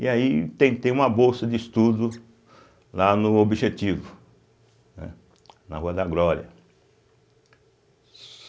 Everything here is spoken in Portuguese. E aí tentei uma bolsa de estudo lá no Objetivo, né na Rua da Glória.